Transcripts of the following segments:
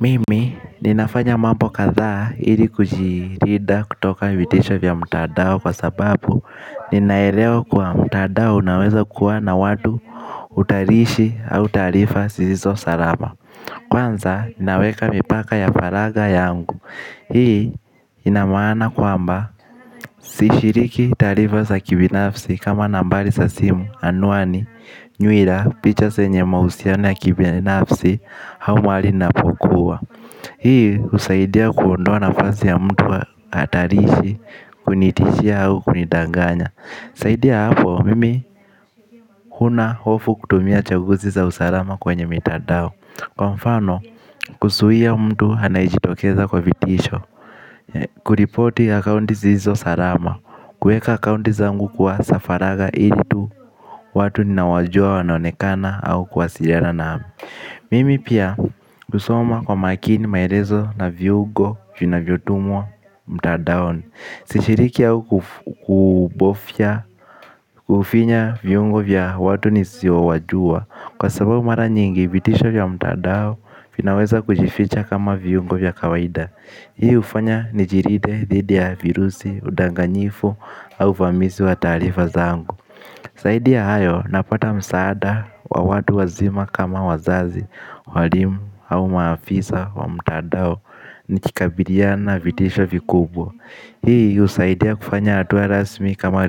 Mimi, ninafanya mambo kadhaa ili kujilinda kutoka vitisho vya mtandao kwa sababu ninaelewa kwa mtandao unaweza kuwa na watu utarishi au tarifa sisizo salama. Kwanza, naweka mipaka ya faraga yangu. Hii, ina maana kwamba, sishiriki taarifa za kibinafsi kama nambari za simu, anwani, nywira, picha zenye mahusiana ya kibinafsi au mahali napokua. Hii husaidia kuondoa nafasi ya mtu hatarishi kunitishia au kunidanganya zaidi ya hapo mimi huna hofu kutumia chaguzi za usalama kwenye mitandao. Kwa mfano kuzuia mtu anayejitokeza kwa vitisho kuripoti akaunti sizizo salama kuweka akaunti zangu kwa za faraga ili tu watu ninaowajua wanonekana au kuwasiliana nao. Mimi pia husoma kwa makini maelezo na viungo vinavyotumwa mtandaoni. Sishiriki au kufinya viungo vya watu nisiowajua. Kwa sababu mara nyingi vitisho vya mtandao vinaweza kujificha kama viungo vya kawaida. Hii ufanya nijilinde dhidi ya virusi, udanganyifu au ufamisi wa taarifa zangu zaidi ya hayo napata msaada wa watu wazima kama wazazi, walimu au maafisa wa mtandao. Nikikabiliana vitisho vikubwa hii husaidia kufanya hatua rasmi kama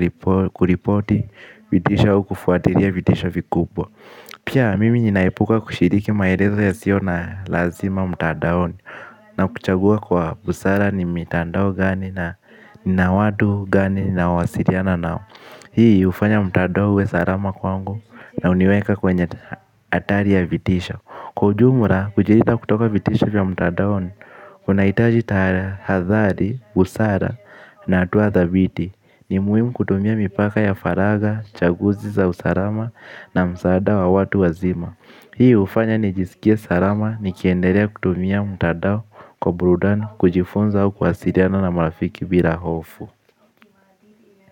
kuripoti vitisho au kufuatilia vitisho vikubwa. Pia mimi ninaepuka kushiriki maelezo yasio na lazima mtandaoni. Na kuchagua kwa busara ni mitandao gani na watu gani nawasiliana nao. Hii hufanya mtandao uwe salama kwangu na uniweka kwenye hatari ya vitisho. Kwa ujumla kujilinda kutoka vitisho vya mtandaoni unaitaji tahadhari, busara na hatua thabiti. Ni muhimu kutumia mipaka ya faraga, chaguzi za usalama na msaada wa watu wazima. Hii hufanya ni jisikie salama nikiendelea kutumia mtandao kwa burudani kujifunza au kuwasiliana na marafiki bila hofu.